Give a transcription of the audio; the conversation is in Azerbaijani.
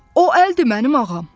O əldir, mənim ağam.